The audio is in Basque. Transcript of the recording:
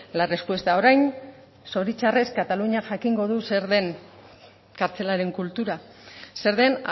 la respuesta orain zoritzarrez kataluniak jakingo dut zer den kartzelaren kultura zer den